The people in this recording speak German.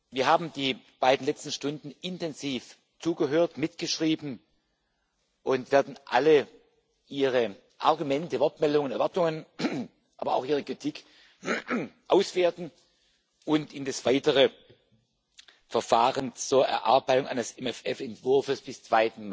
Wir haben die beiden letzten Stunden intensiv zugehört und mitgeschrieben und werden alle Ihre Argumente, Wortmeldungen, Erwartungen, aber auch Ihre Kritik auswerten und in das weitere Verfahren zur Erarbeitung eines MFR Entwurfs bis zum